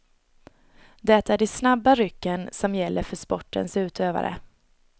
Det är de snabba rycken, som gäller för sportens utövare.